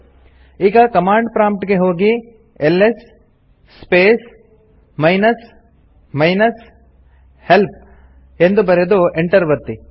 ಈಗ command prompt ಗೆ ಹೋಗಿ LS space minus minus help ಎಂದು ಬರೆದು ಎಂಟರ್ ಒತ್ತಿ